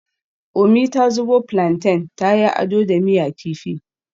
Umi ta zubo plantain ta yi ado da miya kifi